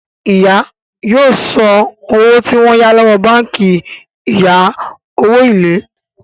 ìyá yóò so owó tí wón yá lówó bánkì ìya owo ilé.